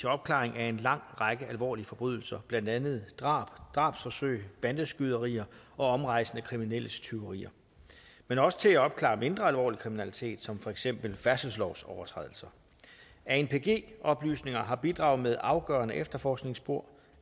opklaring af en lang række alvorlige forbrydelser blandt andet drab drabsforsøg bandeskyderier og omrejsende kriminelles tyverier men også til at opklare mindre alvorlig kriminalitet som for eksempel færdselslovsovertrædelser anpg oplysninger har bidraget med afgørende efterforskningsspor